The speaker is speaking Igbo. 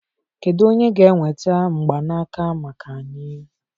Kedu onye ga-enweta mgbanaka maka anyị?